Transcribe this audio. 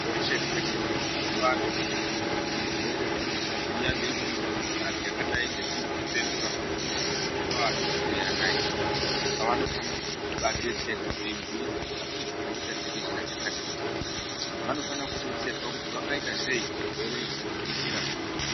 Kweshe-kweshe kunogare vantu kana zvirwere zvanesa zviya, neimweni mikhuhlani yakadai ngedzihwamupengo rakambonesa mazuwa atiperei anaya, anofana kubaadetserwa veibhuyirwa kuti kune chirwere chatekeshera chakati nechekuti. Vanofana kudetserwa kuti vangaita sei kuti zvirwere izvi zvisatekeshera mumabuya umu.